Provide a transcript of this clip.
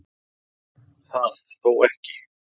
Það þó ekki